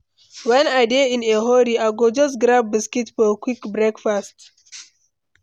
When I dey in a hurry, I go just grab biscuit for quick breakfast.